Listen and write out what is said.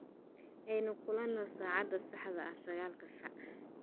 Aynu kulano saacada saxda ah sagaalka saac